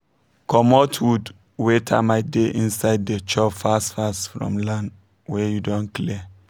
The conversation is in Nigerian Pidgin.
comot wood wey termite dey inside dey chop fast fast from land wey you don clear